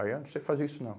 Aí eu não sei fazer isso não.